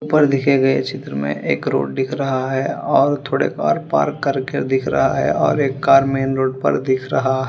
ऊपर दिखे गए चित्र में एक रोड दिख रहा है और थोड़े और पार्क करके दिख रहा है और एक कार मेन रोड पर दिख रहा है।